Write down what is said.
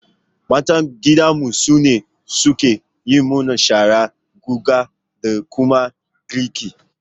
Matan gidanmu su ne suke yi mana shara, guga da kuma girki